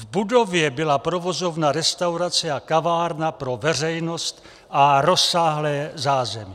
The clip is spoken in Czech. V budově byla provozovna restaurace a kavárna pro veřejnost a rozsáhlé zázemí.